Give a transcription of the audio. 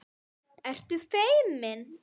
Ertu feimin?